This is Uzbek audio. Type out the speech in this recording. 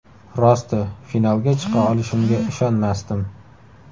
Rosti, finalga chiqa olishimga ishonmasdim.